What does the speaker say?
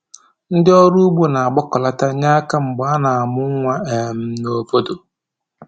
Ndị ọrụ ugbo na-agbakọlata nye aka mgbe a na-amụ nwa um n'obodo